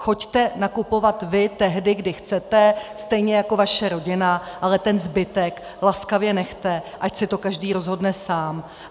Choďte nakupovat vy tehdy, kdy chcete, stejně jako vaše rodina, ale ten zbytek laskavě nechte, ať si to každý rozhodne sám.